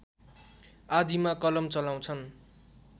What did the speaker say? आदिमा कलम चलाउँछन्